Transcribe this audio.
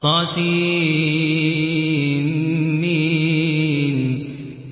طسم